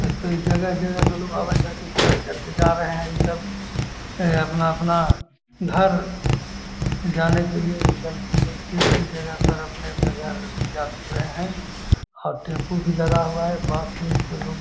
एकत जगह जगह से आवत हई के चढ़ के और जा रहे है इ सब ये अपना अपना घर जाने के लिए सीट कर के अपने अपने घर जा रह है और टैम्पू भी लगा हुआ है बस उस भी लोग --